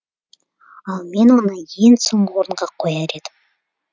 ал мен оны ең соңғы орынға қояр едім